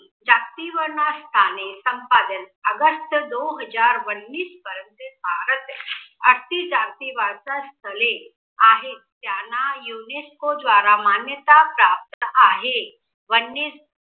ताप्ती वर्णास्थाने संपादन अगस्त दो हजार वन्णीस पर्यंत त्यांना युनेस्को द्वारा मान्यता प्राप्त आहे. वन्य